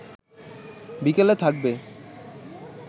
বিকেলে থাকবে